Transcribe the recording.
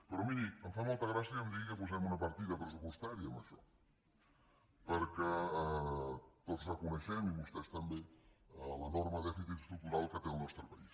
però miri em fa molta gràcia que em digui que posem una partida pressupostària en això perquè tots reconeixem i vostès també l’enorme dèficit estructural que té el nostre país